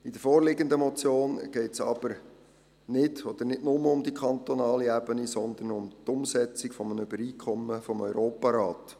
In der vorliegenden Motion geht es aber nicht oder nicht nur um die kantonale Ebene, sondern um die Umsetzung eines Übereinkommens des Europarats.